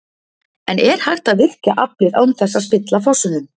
En er hægt að virkja aflið án þess að spilla fossunum?